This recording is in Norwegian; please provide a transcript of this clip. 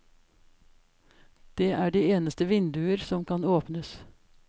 Det er de eneste vinduer som kan åpnes.